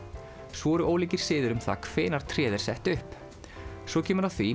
svo eru ólíkir siðir um það hvenær tréð er sett upp svo kemur að því